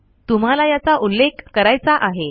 तुम्हाला याचा उल्लेख करायचा आहे